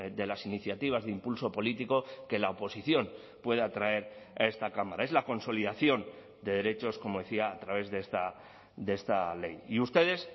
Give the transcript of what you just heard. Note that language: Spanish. de las iniciativas de impulso político que la oposición pueda traer a esta cámara es la consolidación de derechos como decía a través de esta ley y ustedes